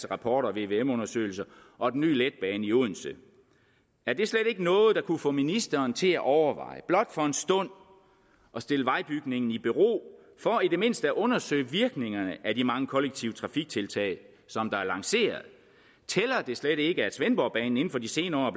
rapporter og vvm undersøgelser og den nye letbane i odense er det slet ikke noget der kunne få ministeren til at overveje blot for en stund at stille vejbygningen i bero for i det mindste at undersøge virkningerne af de mange kollektive trafiktiltag der er lanceret tæller det slet ikke at svendborgbanen inden for de senere